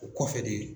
O kɔfɛ de